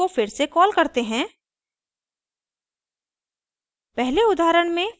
for loop construct को फिर से कॉल करते हैं